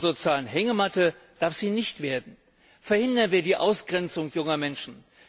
Zur sozialen Hängematte darf sie nicht werden. Verhindern wir die Ausgrenzung junger Menschen!